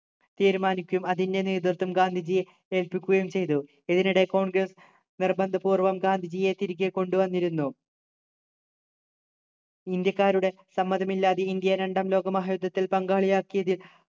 തീരുമാനിക്കും അതിൻ്റെ നേതൃത്വം ഗാന്ധിജിയെ ഏൽപ്പിക്കുകയും ചെയ്തു ഇതിനിടെ congress നിർബന്ധപൂർവ്വം ഗാന്ധിജിയെ തിരികെ കൊണ്ടു വന്നിരുന്നു ഇന്ത്യക്കാരുടെ സമ്മതമില്ലാതെ ഇന്ത്യ രണ്ടാംലോക മഹായുദ്ധത്തിൽ പങ്കാളിയാക്കിയതിൽ